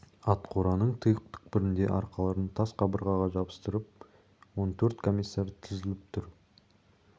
атқораның тұйық түкпірінде арқаларын тас қабырғаға жапсырып он төрт комиссар тізіліп тұр